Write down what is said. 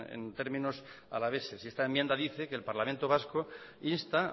en términos alaveses y esta enmienda dice que el parlamento vasco insta